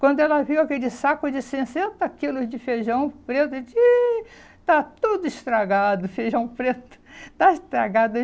Quando ela viu aquele saco de sessenta quilos de feijão preto, disse, ih está tudo estragado, o feijão preto está estragado.